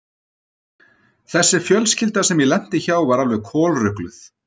Þessi fjölskylda sem ég lenti hjá var alveg kolrugluð.